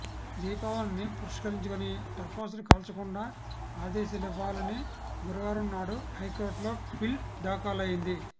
దీపావళిని పురస్కరించుకొని టపాసులు కాల్చకుండా ఆదేశాలివ్వాలని గురువారం నాడు హైకోర్టులో పిల్ దాఖలైంది